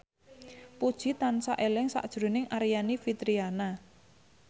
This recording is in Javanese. Puji tansah eling sakjroning Aryani Fitriana